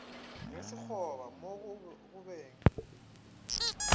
ge sekgoba mo go beng